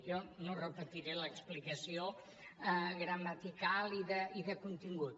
jo no repetiré l’explicació gramatical i de contingut